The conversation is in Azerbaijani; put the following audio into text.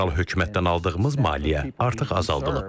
Federal hökumətdən aldığımız maliyyə artıq azaldılıb.